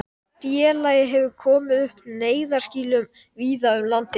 Auk líkamlegra áhrifa hefur ofneysla einnig sálræn áhrif.